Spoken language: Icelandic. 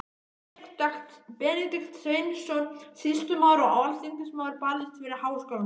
Benedikt Sveinsson, sýslumaður og alþingismaður, barðist fyrir háskólamálinu.